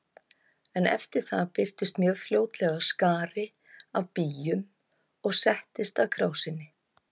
En eftir það birtist mjög fljótlega skari af býjum og settist að krásinni.